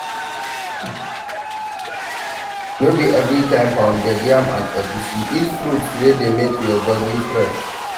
No be everytime pounded yam and egusi, eat fruits wey dey make body fresh